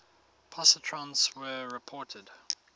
positrons were reported